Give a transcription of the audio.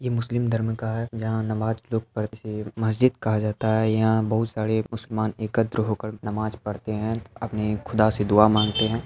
ये मुस्लिम धर्म का है जहा नमाज लोग पढ़ मस्जिद कहा जाता है। यहाँ बहुत सारे मुसलमान एकत्र होकर नमाज पढ़ते हैं अपने खुदा से दुआ मांगते हैं।